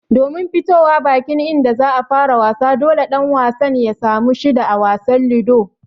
Domin fitowa bakin inda zai fara wasa, dole ɗan wasan ya samu shida a wasan Ludo.